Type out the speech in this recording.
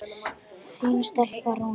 Þín stelpa, Rúna.